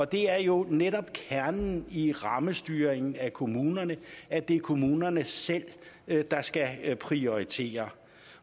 det er jo netop kernen i rammestyringen af kommunerne at det er kommunerne selv der skal prioritere